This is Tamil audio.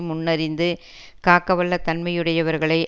முன் அறிந்து காக்க வல்ல தன்மையுடையவர்களை